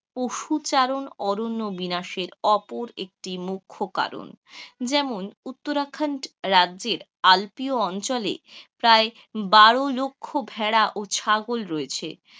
পশু চারণ, অরণ্য বিনাশের অপর একটি মুখ্য কারণ. যেমন উত্তরা খন্ড রাজ্যের আল্পীয় অঞ্চলে প্রায় বারো লক্ষ ভেড়া ও ছাগল রয়েছে,